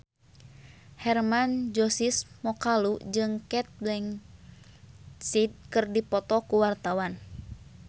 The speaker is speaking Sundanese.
Hermann Josis Mokalu jeung Cate Blanchett keur dipoto ku wartawan